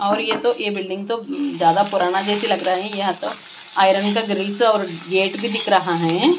और यह तो यह बिल्डिंग तो ज्यादा पुराना जैसे लग रही यहाँ तो आयरन का ग्रिल्स और गेट भी दिख रहा है।